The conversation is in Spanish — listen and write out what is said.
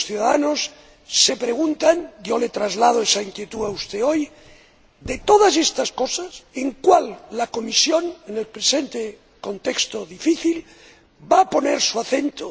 Muchos ciudadanos se preguntan —yo le traslado esa inquietud a usted hoy— en cuáles de todas estas cosas la Comisión, en el presente contexto difícil, va a poner su acento.